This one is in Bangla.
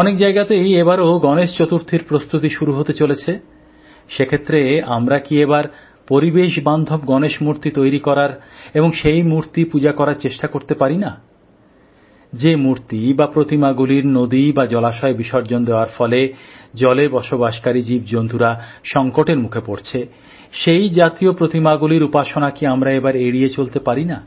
অনেক জায়গাতেই এবারও গণেশ চতুর্থীর প্রস্তুতি শুরু হতে চলেছে সে ক্ষেত্রে আমরা কি এবার পরিবেশ বান্ধব গণেশ মূর্তি তৈরি করার এবং সেই মূর্তি পূজা করার চেষ্টা করতে পারি না যে মূর্তি বা প্রতিমাগুলির নদী বা জলাশয়ে বিসর্জন দেওয়ার ফলে জলে বসবাসকারী প্রাণীরা সংকটের মুখে পড়ছে সেই জাতীয় প্রতিমাগুলির উপাসনা কি আমরা এবার এড়িয়ে চলতে পারিনা